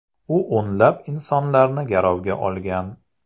U o‘nlab insonlarni garovga olgan.